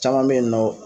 Caman bɛ yen nɔ